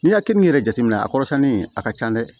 N'i ka keninke yɛrɛ jateminɛ a kɔrɔsɛnni a ka can dɛ